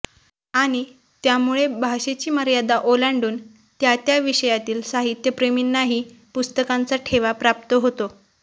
आणि त्यामुळे भाषेची मर्यादा ओलांडून त्या त्या विषयातील साहित्यप्रेमींनाहा पुस्तकांचा ठेवा प्राप्त होतो